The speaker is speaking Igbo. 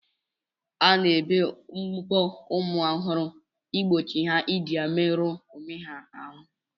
A na-ebe mbọ ụmụ ọhụrụ igbochi ha iji ya meru onwe ha ahụ.